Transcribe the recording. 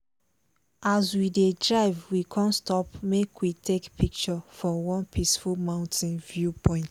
as we dey drive we con stop make we take picture for one peaceful mountain viewpoint.